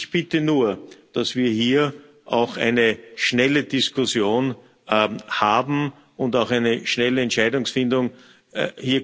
Ich bitte nur, dass wir hier auch eine schnelle Diskussion und auch eine schnelle Entscheidungsfindung haben.